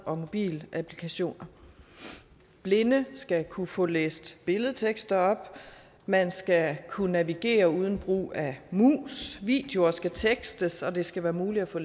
og mobilapplikationer blinde skal kunne få læst billedtekster op man skal kunne navigere uden brug af mus videoer skal tekstes og det skal være muligt at få